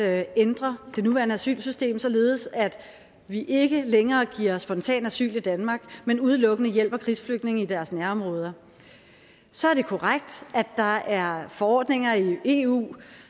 i at ændre det nuværende asylsystem således at vi ikke længere giver spontanasyl i danmark men udelukkende hjælper krigsflygtninge i deres nærområder så er det korrekt at der er forordninger i eu